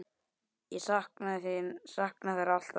Ég saknaði þeirra alltaf.